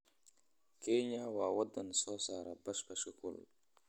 Kenya waa waddan soo saara basbaaska kulul.